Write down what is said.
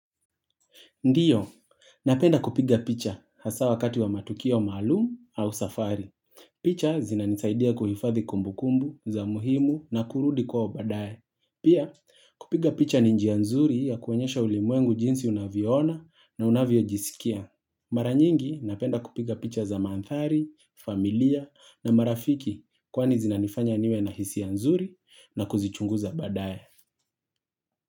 Ndiyo, napenda kupiga picha hasa wakati wa matukio maalumu au safari. Picha zinanisaidia kuhifadhi kumbukumbu za muhimu na kurudi kwao baadae. Pia, kupiga picha ni njia nzuri ya kuonyesha ulimwengu jinsi unavyo ona na unavyo jisikia. Maranyingi, napenda kupiga picha za maandhari, familia na marafiki kwani zinanifanya niwe na hisia nzuri na kuzichunguza badae.